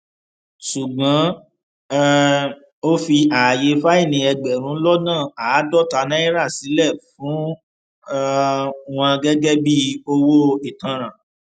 ṣùgbọn um ó fi ààyè fáìní ẹgbẹrún lọnà àádọta náírà sílẹ fún um wọn gẹgẹ bíi owó ìtanràn